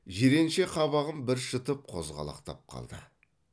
жиренше қабағын бір шытып қозғалақтап қалды